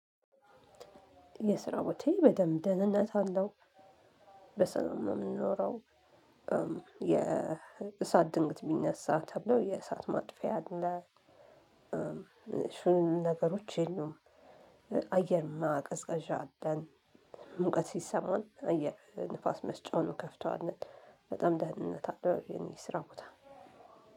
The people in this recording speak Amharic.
የስራ ቦታየ በደንብ ድህንነት አለው በሰላም የምንኖረው። የ የእሳት ድንገት ቢነሳ ተብሎ የእሳት ማጥፊያ አለ። ትንኝ ነገሮች የሉም። አየር ማቀዝቀዣ አለን። ሙቀት ሲሰማን አየር ንፋስ መስጫውን ንከፍቷለን። በጣም ድህንነት እለው የእኔ የስራ ቦታ